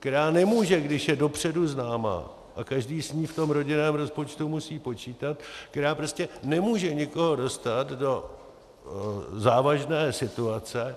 která nemůže, když je dopředu známá a každý s ní v tom rodinném rozpočtu musí počítat, která prostě nemůže nikoho dostat do závažné situace.